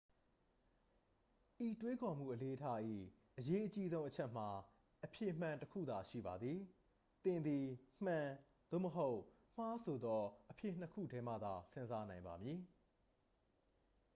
ဤတွေးခေါ်မှုအလေ့အထ၏ အရေးအကြီးဆုံးအချက်မှာ အဖြေမှန် တစ် ခုသာရှိပါသည် သင်သည် မှန် သို့မဟုတ် မှား ဆိုသောအဖြေ နှစ် ခုထဲမှသာ စဉ်းစားနိုင်ပါမည်